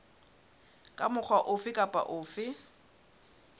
kapa mokga ofe kapa ofe